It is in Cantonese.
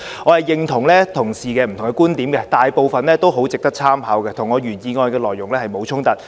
我認同同事的不同觀點，大部分很值得參考，與我原議案的內容沒有衝突。